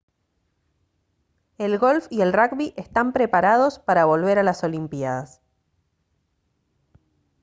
el golf y el rugby están preparados para volver a las olimpiadas